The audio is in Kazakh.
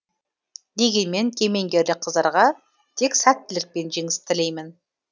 дегенмен кемеңгерлік қыздарға тек сәттілік пен жеңіс тілеймін